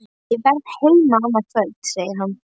Ég verð heima annað kvöld, segir hann.